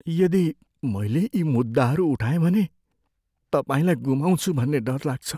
यदि मैले यी मुद्दाहरू उठाएँ भने तपाईँलाई गुमाउँछु भन्ने डर लाग्छ।